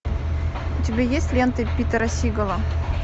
у тебя есть ленты питера сигала